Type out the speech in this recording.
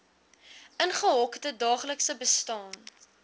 ingehokte daaglikse bestaan